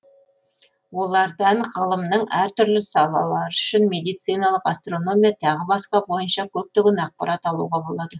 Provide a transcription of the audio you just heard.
олардан ғылымның әр түрлі салалары үшін медициналық астрономия тағы басқа бойынша көптеген ақпарат алуға болады